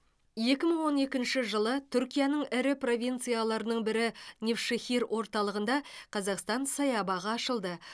екі мың он екінші жылы түркияның ірі провинцияларының бірі невшехир орталығында қазақстан саябағы ашылды